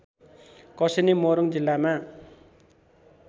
कसेनी मोरङ जिल्लामा